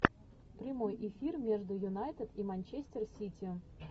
прямой эфир между юнайтед и манчестер сити